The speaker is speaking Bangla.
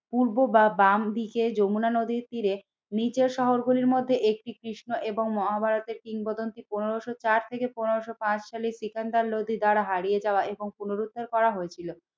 পূর্ব বা বাম দিকে যমুনা নদীর তীরে নিচের শহর গুলির মধ্যে একটি কৃষ্ণ এবং মহাভারতের কিংবদন্তি পনেরোশো চার থেকে পনেরোশো পাঁচ সালের সিকান্দার লোদী দ্বারা হারিয়ে যাওয়া এবং পুনরুদ্ধার করা হয়েছিল।